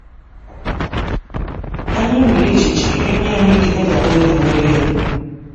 Anyị nwere echiche, enyi anyị Ekene ga-agwa gị banyere ya.”